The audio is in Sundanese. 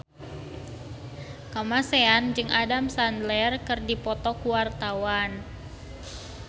Kamasean jeung Adam Sandler keur dipoto ku wartawan